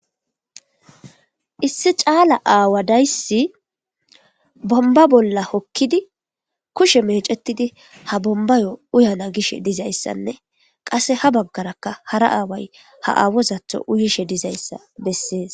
Issi cala aawa days bomba bolla hokid kushe mecetid ha bombayo uyana gishe dizaysanne qase ha bagaraka hara aaway ha awozatho uyishe dizaysa beses.